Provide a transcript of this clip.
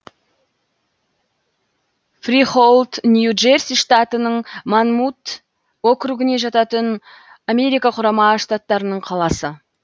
фрихоулд нью джерси штатының монмут округіне жататын америка құрама штаттарының қаласы